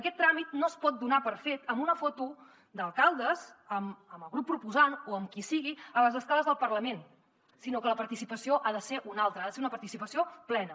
aquest tràmit no es pot donar per fet amb una foto d’alcaldes amb el grup proposant o amb qui sigui a les escales del parlament sinó que la participació ha de ser una altra ha de ser una participació plena